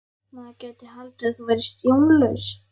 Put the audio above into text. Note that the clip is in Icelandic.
Maður gæti haldið að þú værir sjónlaus!